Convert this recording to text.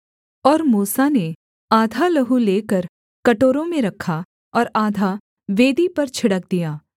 और मूसा ने आधा लहू लेकर कटोरों में रखा और आधा वेदी पर छिड़क दिया